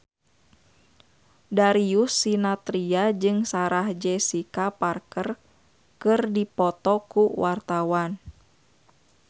Darius Sinathrya jeung Sarah Jessica Parker keur dipoto ku wartawan